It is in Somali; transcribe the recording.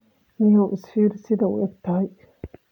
Nio isfirii sidha uuegtahy.